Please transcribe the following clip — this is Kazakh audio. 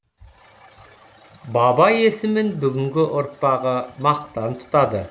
баба есімін бүгінгі ұрпағы мақтан тұтады